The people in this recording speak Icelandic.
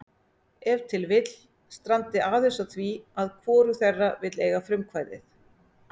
Ef til vill strandi aðeins á því að hvorug þeirra vill eiga frumkvæðið.